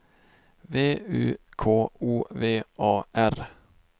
V U K O V A R